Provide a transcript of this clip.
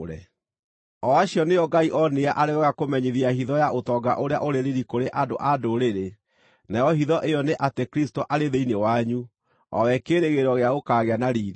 O acio nĩo Ngai oonire arĩ wega kũmenyithia hitho ya ũtonga ũrĩa ũrĩ riiri kũrĩ andũ-a-Ndũrĩrĩ, nayo hitho ĩyo nĩ atĩ Kristũ arĩ thĩinĩ wanyu, o we kĩĩrĩgĩrĩro gĩa gũkaagĩa na riiri.